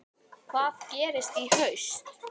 Hvað gerist í haust?